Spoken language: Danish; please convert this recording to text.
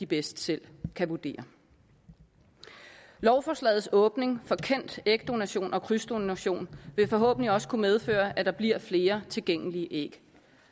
bedst selv kan vurdere lovforslagets åbning for kendt ægdonation og krydsdonation vil forhåbentlig også kunne medføre at der bliver flere tilgængelige æg